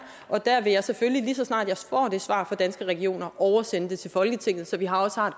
og der vil jeg selvfølgelig lige så snart jeg får det svar fra danske regioner oversende det til folketinget så vi også har